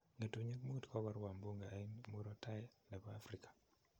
Ngetunyik Mut kokorwa mbuga en murot tai nepo afrika